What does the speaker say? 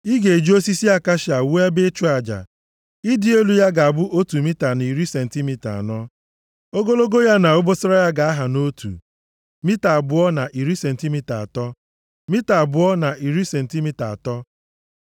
“Ị ga-eji osisi akashia wuo ebe ịchụ aja. Ịdị elu ya ga-abụ otu mita na iri sentimita anọ. Ogologo ya na obosara ya ga-aha nʼotu, mita abụọ na iri sentimita atọ, mita abụọ na iri sentimita atọ.